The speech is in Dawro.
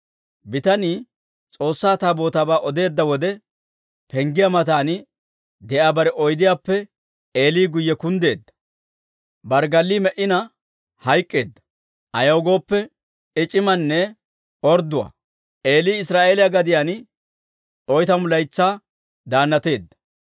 Bitanii S'oossaa Taabootaabaa odeedda wode, penggiyaa matan de'iyaa bare oydiyaappe Eeli guyye kunddina barggalli me"ina hayk'k'eedda; ayaw gooppe, I c'imanne ordduwaa. Eeli Israa'eeliyaa gadiyaan oytamu laytsaa daannateedda.